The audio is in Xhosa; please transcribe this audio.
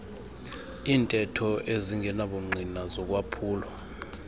iintetho ezingenabungqina zokwaphulwa